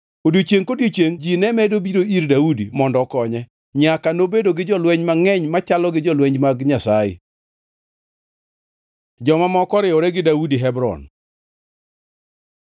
Odiechiengʼ kodiechiengʼ ji ne medo biro ir Daudi mondo okonye, nyaka nobedo gi jolweny mangʼeny machalo gi jolweny mag Nyasaye. Joma moko oriwore gi Daudi Hebron